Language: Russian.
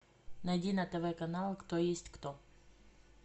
найди на тв канал кто есть кто